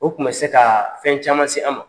O tun bɛ se ka fɛn caman se an ma